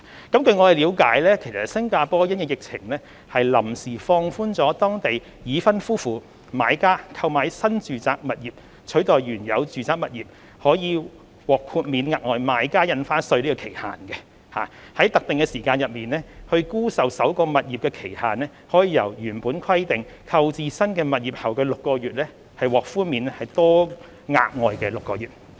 據我們了解，新加坡因應疫情，臨時放寬當地已婚夫婦買家購買新住宅物業取代原有住宅物業可獲豁免額外買家印花稅的期限，在特定的時間內沽售首個物業的期限，由原本規定購置新物業後的6個月獲寬免多額外6個月。